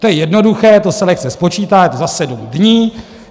To je jednoduché, to se lehce spočítá, je to za sedm dní.